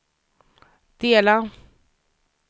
dela